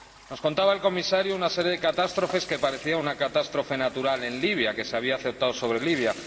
Nos contaba el Comisario una serie de catástrofes —que parecían una catástrofe natural que se había abatido sobre Libia—.